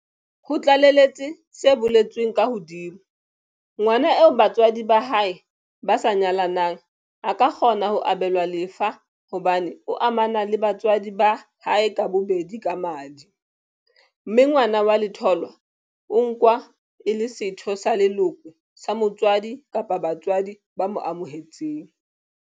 Ho tlaleletse se boletsweng ka hodima, ngwana eo ba tswadi ba hae ba sa nyalanang a ka kgona ho abelwa lefa hobane o amana le batswadi ba hae ka bobedi ka madi, mme ngwana wa letholwa o nkwa e le setho sa leloko sa motswadi kapa batswadi ba mo amohetseng.